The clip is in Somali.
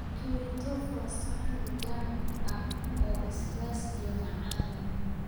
Curry tofu waa saxan vegan ah oo basbas iyo macaan leh.